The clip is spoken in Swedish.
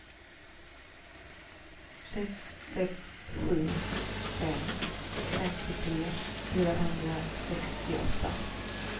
sex sex sju fem femtiotre fyrahundrasextioåtta